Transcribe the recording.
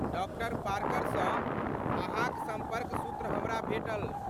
Doctor पार्करसँ अहाँक सम्पर्क सूत्र हमरा भेटल।